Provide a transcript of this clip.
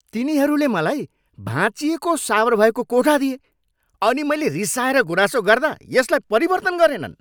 तिनीहरूले मलाई भाँचिएको सावर भएको कोठा दिए अनि मैले रिसाएर गुनासो गर्दा यसलाई परिवर्तन गरेनन्।